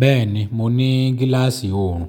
Bẹ́ẹ̀ni, mo ní gíláàsì òòrùn.